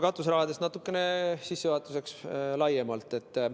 Katuserahast sissejuhatuseks natukene laiemalt.